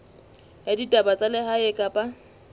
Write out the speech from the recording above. ya ditaba tsa lehae kapa